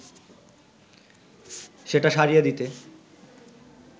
সেটা সারিয়ে দিতে